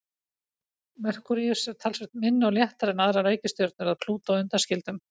Merkúríus er talsvert minni og léttari en aðrar reikistjörnur að Plútó undanskildum.